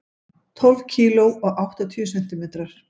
Tólf kíló og áttatíu sentimetrar.